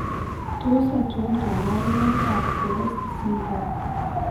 Tos achon kabarunaik ab CREST syndrome ?